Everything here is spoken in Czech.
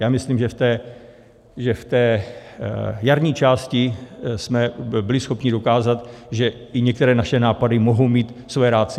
Já myslím, že v té jarní části jsme byli schopni dokázat, že i některé naše nápady mohou mít své ratio.